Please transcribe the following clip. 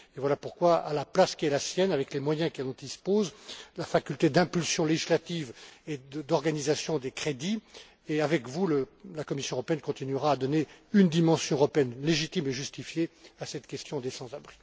Voilà pourquoi, à la place qui est la sienne et avec les moyens dont il dispose, la faculté d'impulsion législative et d'organisation des crédits, le Parlement, et avec lui, la Commission européenne, continueront à donner une dimension européenne légitime et justifiée à cette question des sans abris.